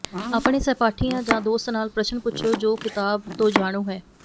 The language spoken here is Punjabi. ਆਪਣੇ ਸਹਿਪਾਠੀਆਂ ਜਾਂ ਦੋਸਤ ਨਾਲ ਪ੍ਰਸ਼ਨ ਪੁੱਛੋ ਜੋ ਕਿਤਾਬ ਤੋਂ ਜਾਣੂ ਹੈ